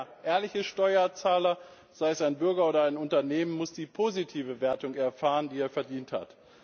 Denn der ehrliche Steuerzahler, sei es ein Bürger oder sei es ein Unternehmen, muss die positive Wertung erfahren, die er verdient hat.